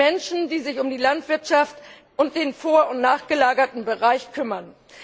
Menschen, die sich um die Landwirtschaft und den vor und nachgelagerten Bereich kümmern.